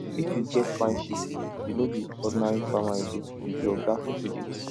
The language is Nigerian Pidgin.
if you get fine sheep you no be ordinary farmer again you be oga for village